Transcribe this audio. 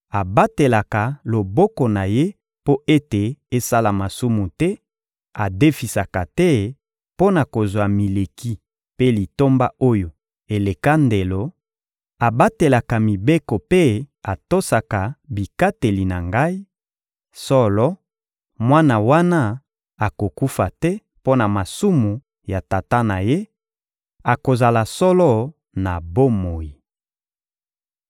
abatelaka loboko na ye mpo ete esala masumu te, adefisaka te mpo na kozwa mileki mpe litomba oyo eleka ndelo, abatelaka mibeko mpe atosaka bikateli na Ngai; solo, mwana wana akokufa te mpo na masumu ya tata na ye: akozala solo na bomoi.